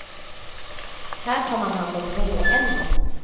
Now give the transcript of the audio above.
Här tar man hand om råämnet.